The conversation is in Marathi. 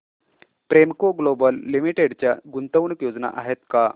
प्रेमको ग्लोबल लिमिटेड च्या गुंतवणूक योजना आहेत का